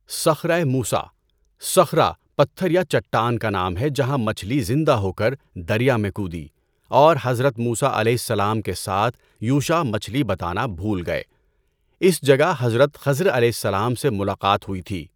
صخرۂ موسی - صخرہ پتھر یا چٹان کا نام ہے جہاں مچھلی زندہ ہو کر دریا میں کودی اور حضرت موسیٰ علیہ السلام کے ساتھ یوشع مچھلی بتانا بھول گئے۔ اس جگہ حضرت خضر علیہ السلام سے ملاقات ہوئی تھی۔